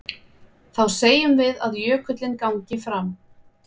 Þá segjum við að jökullinn gangi fram.